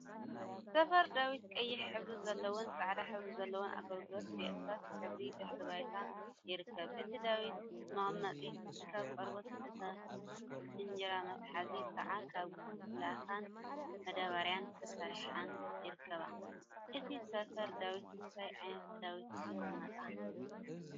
ሰፈር ዳዊት ቀይሕ ሕብሪ ዘለዋን ፃዕዳ ሕብሪ ዘለዋ አገልግልን ብእርሳስ ሕብሪ ድሕረ ባይታ ይርከብ፡፡ እታ ዳዊት መቀመጢት ካብ ቆርበት እታ እንጀራ መትሓዚት ከዓ ካብ ላካን መዳበርያን ተሰሪሐን ይርከባ፡፡ እታ ሰፍር ዳዊት እንታይ ዓይነት ዳዊት ይቅመጣ?